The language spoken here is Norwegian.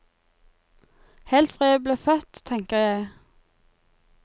Helt fra jeg ble født, tenker jeg.